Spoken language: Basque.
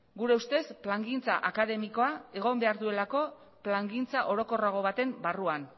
gure ustez plangintza akademikoa egon behar duelako plangintza orokorrago baten barruan